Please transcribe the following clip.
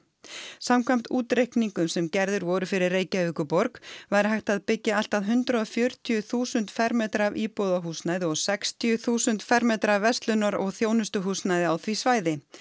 samkvæmt útreikningum sem gerðir voru fyrir Reykjavíkurborg væri hægt að byggja allt að hundrað og fjörutíu þúsund fermetra af íbúðahúsnæði og sextíu þúsund fermetra af verslunar og þjónustuhúsnæði á því svæði